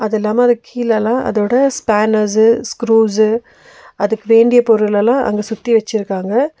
அது இல்லாம அது கீழல்லா அதோட ஸ்பேனர்ஸு ஸ்குரூஸ்ஸு அதுக்கு வேண்டிய பொருள் எல்லா அங்க சுத்தி வெச்சிருக்காங்க.